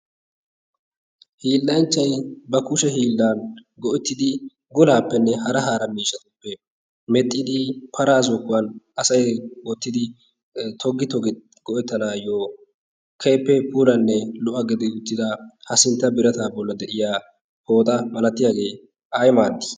hiillanchchay ba kushe hiillaa go'ettidi golaappenne hara hara miishshatuppe medhdhidi paraa zokkuwan wottidi toggi toggi go'ettanaayyo keehippe puulanne lo'a gidi uttida ha sintta birataa bolli de'iya pooxa milatiyage ay maaddi?